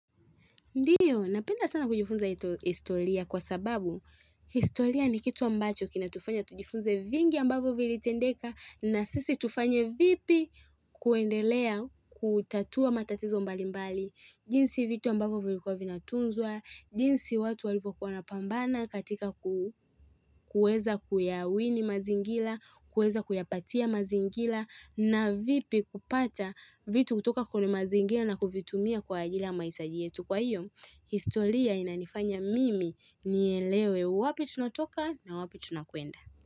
Ndio, napenda sana kujifunza historia kwa sababu, historia ni kitu ambacho kina tufanya tujifunze vingi ambavyo vilitendeka na sisi tufanye vipi kuendelea kutatua matatizo mbali mbali, jinsi vitu ambavyo vilikuwa vinatunzwa, jinsi watu walipo kuwa wanapambana katika kuweza kuyawini mazingira, kuweza kuyapatia mazingira na vipi kupata vitu kutoka kwenye mazingira na kuvitumia kwa ajiri mahitaji yetu kwa hiyo. Historia inanifanya mimi nielewe wapi tunatoka na wapi tunakuenda.